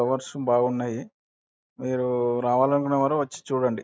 Flowers బాగున్నాయి. మీరు రావాలనుకునేవారు వచ్చి చూడండి.